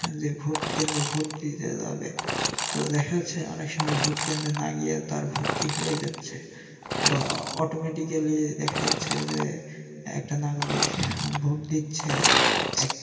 যে ভোট কেন্দ্রে ভোট দিতে যাবে তো দেখা যাচ্ছে যে অনেক সময় ভোট কেন্দ্রে না গিয়ে তার ভোটটি হয়ে যাচ্ছে বা অটোম্যা্টিকেলি দেখা যাচ্ছে যে একটা নাগরিক ভোট দিচ্ছে এক